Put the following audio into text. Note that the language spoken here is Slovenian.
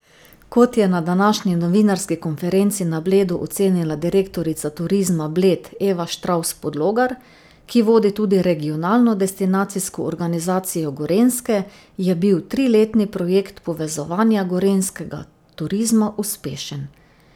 Kot je na današnji novinarski konferenci na Bledu ocenila direktorica Turizma Bled Eva Štravs Podlogar, ki vodi tudi Regionalno destinacijsko organizacijo Gorenjske, je bil triletni projekt povezovanja gorenjskega turizma uspešen.